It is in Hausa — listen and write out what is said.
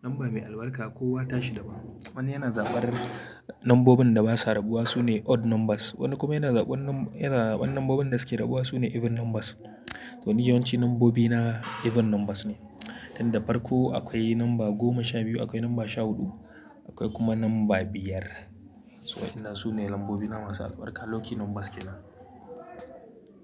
lamba mai albarka kowa ta shi daban. Wani yana zabar lambobin da basa rabuwa sune odd numbers. Wani kuma yana zaban yana zaban lambobin da suke rabuwa sune even numbers. To ni yawanci lambobina even numbers ne. Tunda farko akwai lamba goma sha biyu, akwai lamba sha huɗu, akwai kuma lamba biyar. Waɗannan su ne lambobina masu albarka. Lucky numbers ke nan.